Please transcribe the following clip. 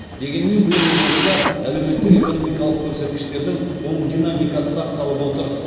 дегенмен биыл облыста әлеуметтік экономикалық көрсеткіштердің оң динамикасы сақталып отыр